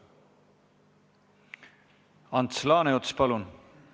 Ants Laaneots, palun!